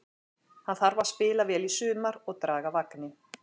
Hann þarf að spila vel í sumar og draga vagninn.